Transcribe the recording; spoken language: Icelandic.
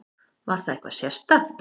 Var það eitthvað sérstakt?